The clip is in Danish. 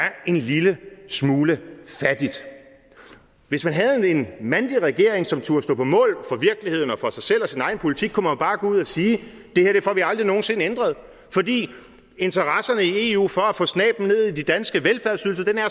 en lille smule fattigt hvis man havde en mandig regering som turde stå på mål for virkeligheden og for sig selv og sin egen politik kunne man bare gå ud og sige at det her får vi aldrig nogen sinde ændret fordi interesserne i eu for at få snabelen ned i de danske velfærdsydelser er